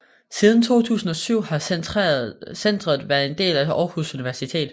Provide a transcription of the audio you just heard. Siden 2007 har centret været en del af Aarhus Universitet